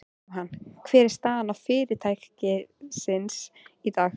Jóhann, hver er staða fyrirtækisins í dag?